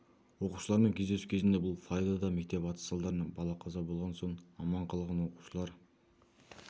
оқушыларымен кездесу кезінде бұл флоридада мектепте атыс салдарынан бала қаза болған соң аман қалған оқушылар